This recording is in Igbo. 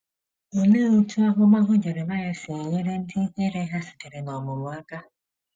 Olee otú ahụmahụ Jeremaịa si enyere ndị ihere ha sitere n’ọmụmụ aka?